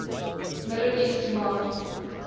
middle east command